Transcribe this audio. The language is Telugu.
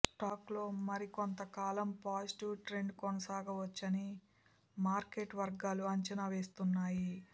స్టాక్లో మరికొంతకాలం పాజిటివ్ ట్రెండ్ కొనసాగవచ్చని మార్కెట్ వర్గాలు అంచనా వేస్తున్నాయి